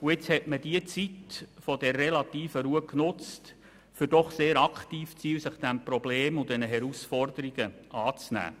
Jetzt hat man diese Zeit der relativen Ruhe dazu genutzt, um doch recht aktiv zu sein und sich dieses Problems und den Herausforderungen anzunehmen.